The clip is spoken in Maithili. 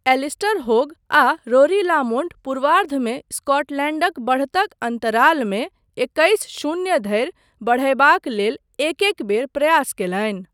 एलिस्टर हॉग आ रोरी लामोन्ट पूर्वार्धमे स्कॉटलैण्डक बढ़तक अन्तरालमे एकइस शून्य धरि बढ़यबाक लेल एक एक बेर प्रयास कयलनि।